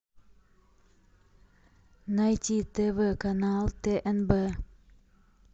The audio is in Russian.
найти тв канал тнб